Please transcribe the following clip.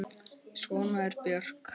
Svona er Björk.